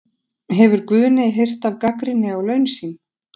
Hefur Guðni heyrt af gagnrýni á laun sín?